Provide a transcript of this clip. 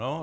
Ano.